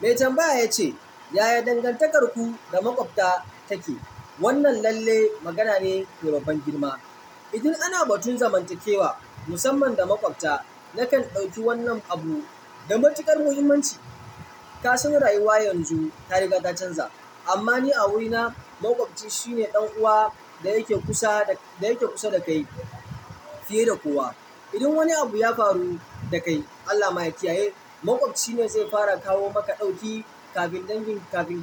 Mai tambaya yace yaya dangantakanku da makwabta take. Wannan lallai magana ne mai babban girma. Idan ana batun zamantakewa musamman da maƙwabta, nakan ɗauki wannan abu da matuƙar muhimmanci. Kasan rayuwa yanzu ta riga ta canza, amma ni a wurina, maƙwabci shine ɗan uwa da yake kusa da kai fiye da kowa. Idan wani abu ya faru da kai, Allah ma ya kiyaye, maƙwabci ne zai fara kawo maka ɗauki kafin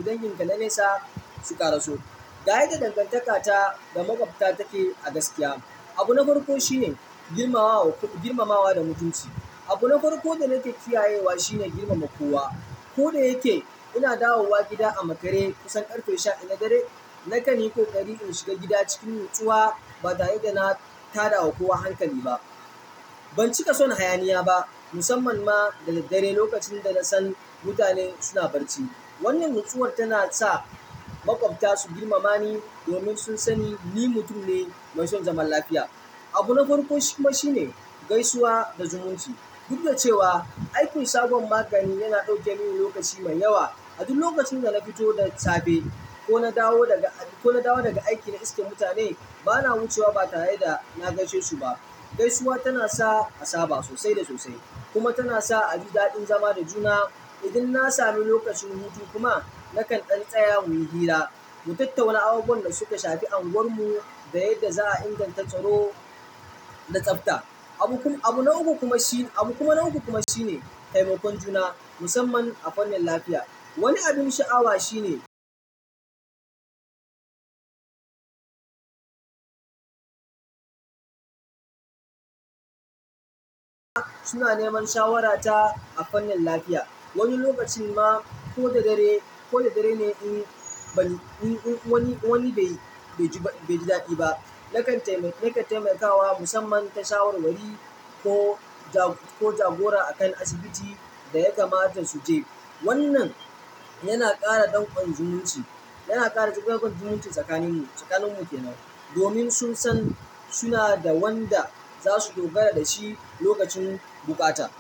dangin ka na nesa su karaso. Ga yadda dangantaka ta da maƙwabta take a gaskiya, abu na farko shine girmamawa da mutunci. Abu na farko da nake kiyayewa shine girmama kowa. Ko da yake ina dawowa gida a makare kusan ƙarfe sha ɗaya na dare, nakan yi ƙoƙari in shiga gida cikin natsuwa ba tare da na tada kowa hankali ba. Ban cika so na hayaniya ba musamman ma da daddare lokacin da na san mutanen suna barci. Wannan natsuwar tana sa maƙwabta su girmama ni domin sun sani ni mutum ne mai son zaman lafiya. Abu na farko kuma shine gaisuwa da zumunci. Duk da cewa aikin shagon magani yana ɗauke mini lokaci mai yawa, a duk lokacin da na fito da safe ko na dawo daga aiki na iskar mutane, bana wucewa ba tare da na gaishe su ba. Gaisuwa tana sa asaba sosai da sosai kuma tana sa a ji daɗin zama da juna. Idan na sami lokacin hutu kuma, nakan ɗan tsaya muyi hira, mu tattauna abubuwan da suka shafi unguwar mu da yadda za a inganta tsaro da tsafta. Abu na uku kuma shine, abu kuma na uku shine taimakon juna musamman a fannin lafiya. Wani abin sha'awa shine suna neman shawara ta a fannin lafiya. Wani lokacin ma, ko da dare ne in wani bai ji daɗi ba, nakan taimaka wa musamman ta shawarwari ko jagora. Ko jagora akan asibitin da ya kamata su je. Wannan yana ƙara ɗanƙon zumunci tsakanin mu ke nan domin sun san suna da wanda za su dogara da shi lokacin bukata.